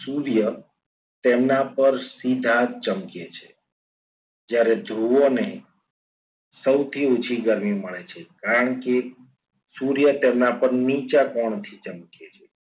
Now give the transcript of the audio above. સૂર્ય તેના પર સીધા જ ચમકે છે જ્યારે ધ્રુવોને સૌથી ઓછી ગરમી મળે છે. કારણ કે સૂર્ય તેના પર નીચા કોણ થી ચમકે છે.